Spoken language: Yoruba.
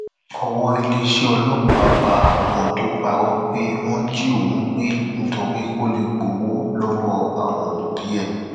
owó iléeṣẹ ọlọpàá bá ọmọ tó parọ pé wọn jí òun gbé nítorí kó lè gbowó lọwọ àwọn òbí ẹ